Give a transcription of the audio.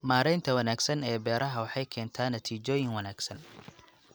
Maareynta wanaagsan ee beeraha waxay keentaa natiijooyin wanaagsan.